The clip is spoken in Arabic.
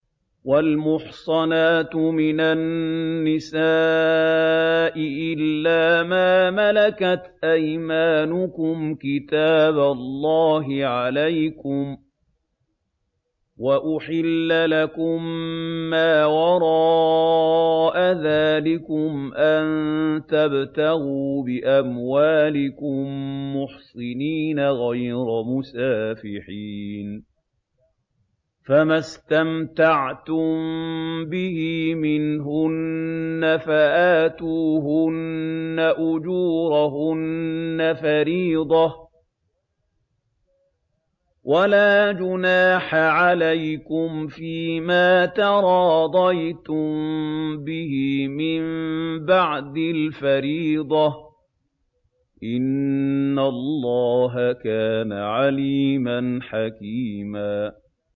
۞ وَالْمُحْصَنَاتُ مِنَ النِّسَاءِ إِلَّا مَا مَلَكَتْ أَيْمَانُكُمْ ۖ كِتَابَ اللَّهِ عَلَيْكُمْ ۚ وَأُحِلَّ لَكُم مَّا وَرَاءَ ذَٰلِكُمْ أَن تَبْتَغُوا بِأَمْوَالِكُم مُّحْصِنِينَ غَيْرَ مُسَافِحِينَ ۚ فَمَا اسْتَمْتَعْتُم بِهِ مِنْهُنَّ فَآتُوهُنَّ أُجُورَهُنَّ فَرِيضَةً ۚ وَلَا جُنَاحَ عَلَيْكُمْ فِيمَا تَرَاضَيْتُم بِهِ مِن بَعْدِ الْفَرِيضَةِ ۚ إِنَّ اللَّهَ كَانَ عَلِيمًا حَكِيمًا